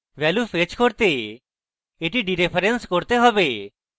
value fetch করতে এটি dereference করতে হবে